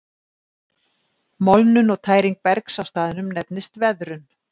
Molnun og tæring bergs á staðnum nefnist veðrun.